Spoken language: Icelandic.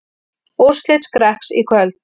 Úrslit Skrekks í kvöld